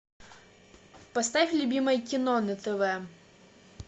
поставь любимое кино на тв